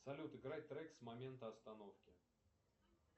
салют играть трек с момента остановки